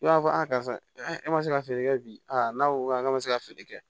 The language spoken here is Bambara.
I b'a fɔ a karisa e ma se ka feere kɛ bi n'a ko awɔ k'a ma se ka feere kɛ